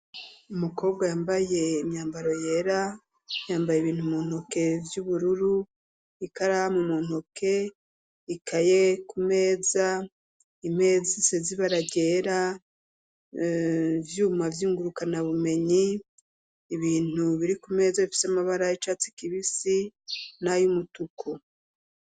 Umukobwa yambaye imyambaro yera, yambaye ibintu mu ntoke vy'ubururu, ikaramu mu ntoke, ikaye ku meza, imeza isize ibara ryera, ivyuma vy'ingurukana bumenyi , ibintu biri ku meza bifise amabara y'icatsi kibisi n'ay'umutuku.